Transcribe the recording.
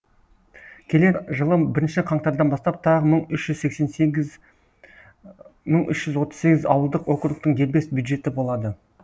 келер жылы бірінші қаңтардан бастап тағы мың үш жүз отыз сегіз ауылдық округтің дербес бюджеті болады